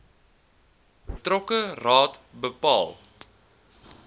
betrokke raad bepaal